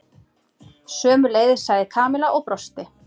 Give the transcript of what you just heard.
Sömuleiðis sagði Kamilla og brosti.